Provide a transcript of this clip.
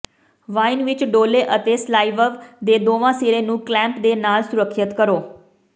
wine ਵਿਚ ਡੋਲ੍ਹੋ ਅਤੇ ਸਲਾਈਵਵ ਦੇ ਦੋਵਾਂ ਸਿਰੇ ਨੂੰ ਕਲੈਂਪ ਦੇ ਨਾਲ ਸੁਰੱਖਿਅਤ ਕਰੋ